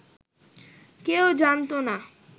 কেউ জানত না